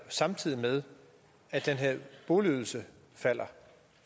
samtidig med at den her boligydelse falder